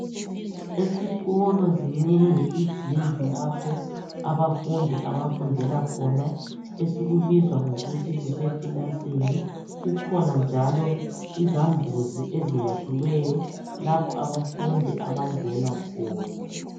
Esikolo zinengi izindlu lapho abafundi abafundela khona okubizwa ngokuthi kusekilasini. Kukhona njalo izambuzi eziyakhiweyo lapho abafindi abangena khona.